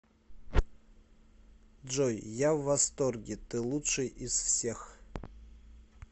джой я в восторге ты лучший из всех